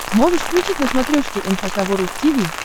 можешь включить на смотрешке эн эйч кей волд ти ви